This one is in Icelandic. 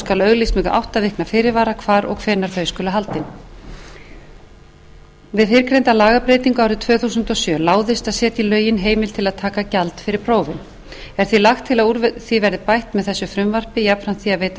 auglýst með átta vikna fyrirvara hvar og hvenær þau skulu haldin við fyrrgreinda lagabreytingu árið tvö þúsund og sjö láðist að setja í lögin heimild til að taka gjald fyrir prófin er því lagt til að úr því verði bætt með þessu frumvarpi jafnframt því að veita